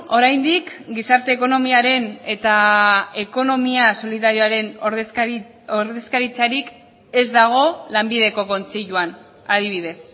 oraindik gizarte ekonomiaren eta ekonomia solidarioaren ordezkaritzarik ez dago lanbideko kontseiluan adibidez